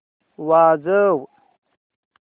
वाजव